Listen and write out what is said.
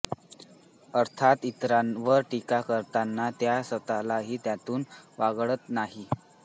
अर्थात इतरांवर टीका करताना त्या स्वतःलाही त्यातून वागळत नाही